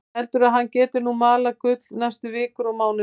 Heldur að hann geti nú malað gull næstu vikur og mánuði.